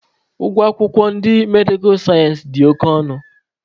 Ụgwọ akwụkwọ ndị medikal sayensị dị oke ọnụ